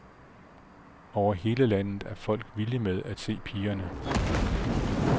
Over hele landet er folk vilde med at se pigerne.